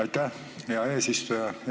Aitäh, hea eesistuja!